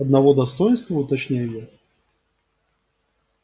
одного достоинства уточняю я